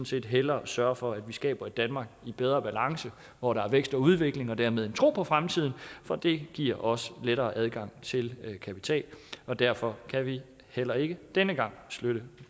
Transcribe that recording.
set hellere sørge for at vi skaber et danmark i bedre balance hvor der er vækst og udvikling og dermed en tro på fremtiden for det giver os lettere adgang til kapital derfor kan vi heller ikke denne gang støtte